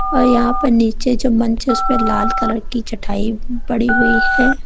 और यहां पर नीचे जो बेंचस पर लाल कलर की चटाई पड़ी हुई है।